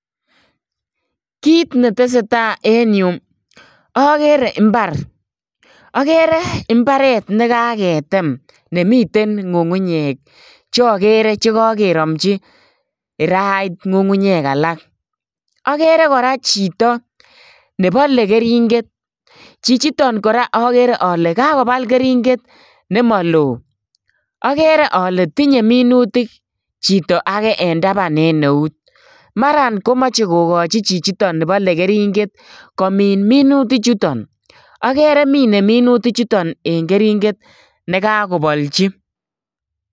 Kit netesetai en yuu, akere mbar. Akere mbaret nekaketem nemiten ng'ung'unyek che akere kakekiramchi kirait ng'ung'unyek alak . Akere kora chito nebale keringet. Chichiton kora akere ale kakobal keringet nemalo. Akere ale tinye minutik chito age en taban en eut. Mara komache kokochi chichiton nebale keringet komin minutik chuton. Akere mine minutik chuton en keringet nekakobalchi.